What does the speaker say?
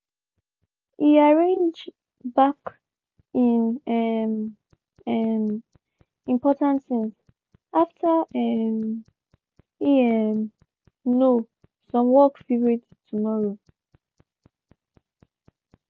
he arrange-back him um um important things after um e um know some work fit wait till tomorrow.